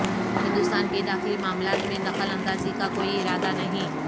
ہندوستان کے داخلی معاملات میں دخل اندازی کا کوئی ارادہ نہیں